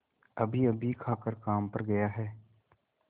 अभीअभी खाकर काम पर गया है